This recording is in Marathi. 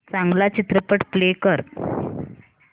चांगला चित्रपट प्ले कर